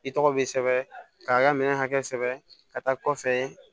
I tɔgɔ be sɛbɛn k'a ka minɛn hakɛ sɛbɛ ka taa kɔfɛ